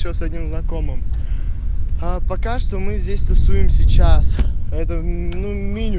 с одним знакомым пока что мы здесь тусуем сейчас поэтому меня